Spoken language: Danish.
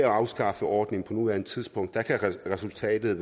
afskaffer ordningen på nuværende tidspunkt kan resultatet